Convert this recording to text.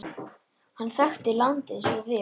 Hann þekkti landið svo vel.